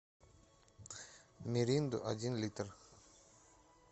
миринду один литр